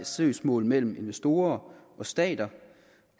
søgsmål mellem investorer og stater